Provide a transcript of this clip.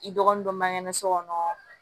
I dɔgɔnin dɔ magɛrɛ so kɔnɔ